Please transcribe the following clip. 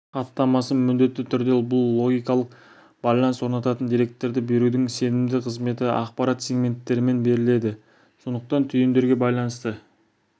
хаттамасы міндетті түрде бұл логикалық байланыс орнататын деректерді берудің сенімді қызметі ақпарат сегменттермен беріледі сондықтан түйіндерге байланысты